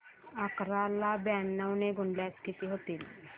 अकरा ला ब्याण्णव ने गुणल्यास किती होतील